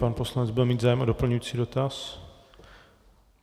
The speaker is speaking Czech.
Pan poslanec bude mít zájem o doplňující dotaz?